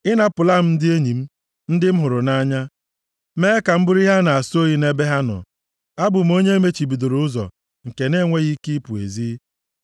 Ị napụla m ndị enyi m, ndị m hụrụ nʼanya, mee ka m bụrụ ihe a na-asọ oyi nʼebe ha nọ. Abụ m onye emechibidoro ụzọ; nke nʼenweghị ike ịpụ ezi;